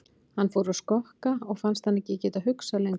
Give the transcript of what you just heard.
Hann fór að skokka og fannst hann ekki geta hugsað lengur.